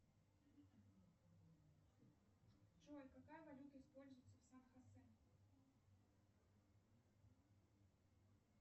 джой какая валюта используется в сан хосе